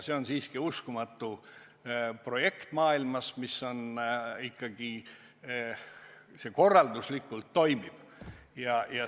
See on siiski maailmas uskumatu projekt, mis ikkagi korralduslikult toimib.